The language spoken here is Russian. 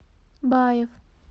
баев